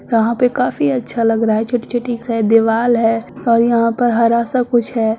यहाँ पर काफी अच्छा लग रहा है छोटी-छोटी सी दीवाल दीवा है और यहाँ पर हरा-सा कुछ है।